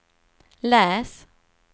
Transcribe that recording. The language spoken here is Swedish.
läs